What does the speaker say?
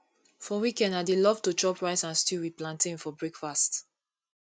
for weekend i dey love to chop rice and stew with plantain for breakfast